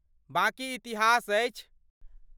बाकी इतिहास अछि!